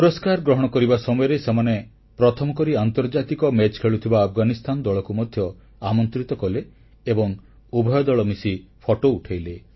ପୁରସ୍କାର ଗ୍ରହଣ କରିବା ସମୟରେ ସେମାନେ ପ୍ରଥମ କରି ଆନ୍ତର୍ଜାତିକ ମ୍ୟାଚ ଖେଳୁଥିବା ଆଫଗାନିସ୍ଥାନ ଦଳକୁ ମଧ୍ୟ ଆମନ୍ତ୍ରିତ କଲେ ଏବଂ ଉଭୟ ଦଳ ମିଶି ଫଟୋ ଉଠାଇଲେ